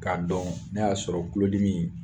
K'a dɔn n'a y'a sɔrɔ tulodimi in